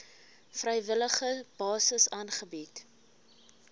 vrywillige basis aangebied